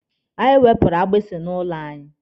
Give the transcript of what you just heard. Anyị wepụrụ agbisi nọ n'ụlọ anyị.